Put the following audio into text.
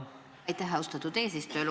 Aitäh, austatud eesistuja!